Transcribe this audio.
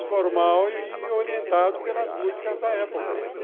Informal e orientado pelas músicas da época.